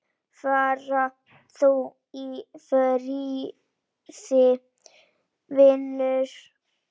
Far þú í friði, vinur.